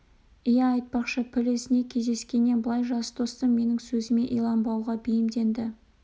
иә айтпақшы піл ізіне кездескеннен былай жас достым менің сөзіме иланбауға бейімденді